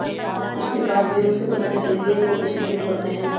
उसके बाद वे उसे पकड़ने के लिए एक ऑपरेशन शुरू करते हैं